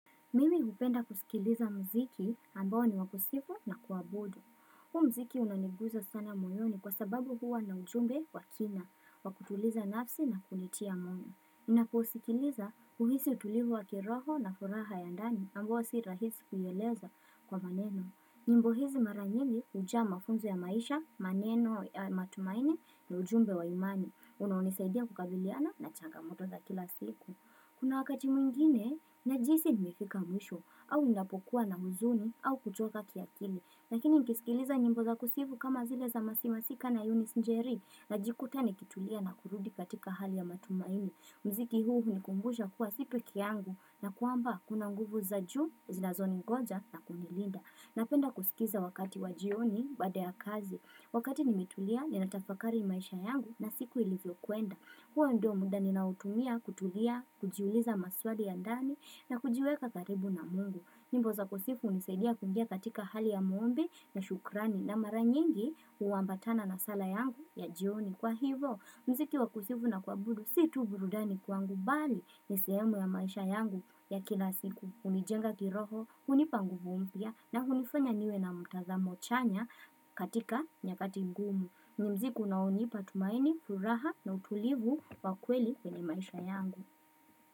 Mimi hupenda kusikiliza mziki ambao ni wakusifu na kuabudu. Huu mziki unaniguza sana moyoni kwa sababu huwa na ujumbe wakina wakutuliza nafsi na kunitia moyo. Ninaposikiliza husi utulivu wa kiroho na furaha ya ndani ambuwa sirahisi kuyeleza kwa maneno. Nyimbo hizi maranyini hujaa mafunzo ya maisha, maneno ya matumaini na ujumbe wa imani. Unaonisaidia kukabiliana na changamoto za kila siku. Kuna wakati mwingine, njihisi nimefika mwisho, au napokuwa na huzuni, au kuchoka kiakili. Lakini nikisikiliza nyimbo za kusifu kama zile za Mercy masika na Yunis Njeri, najikuta ni kitulia na kurudi katika hali ya matumaini. Mziki huu HUnikumbushaa kuwa si pekee yangu, na kuamba kuna nguvu za juu, zinazoningoja na kunilinda. Napenda kusikiza wakati wajioni baada ya kazi. Wakati nimetulia, ninatafakari maisha yangu na siku ilivyo kuenda. Huo ndio muda ninaoutumia kutulia, kujiuliza maswali ya ndani na kujiweka karibu na mungu. Nyimbo za kusifu hunisadia kungia katika hali ya muombi na shukrani na mara nyingi huambatana na sala yangu ya jioni. Kwa hivyo, mziki wa kusifu na kuabudu si tuburudani kwangu bali ni sehemu ya maisha yangu ya kila siku. Hunijenga kiroho, hunipa nguvu mpya na hunifanya niwe na mtazamo chanya katika nyakati ngumu. Ni mziki unaonipa tumaini, furaha na utulivu wa kweli kwenye maisha yangu.